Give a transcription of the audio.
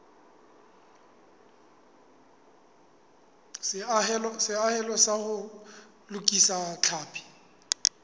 seahelo sa ho lokisa tlhapi